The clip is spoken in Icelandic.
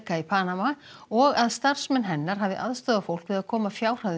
í Panama og að starfsmenn hennar hafi aðstoðað fólk við að koma fjárhæðum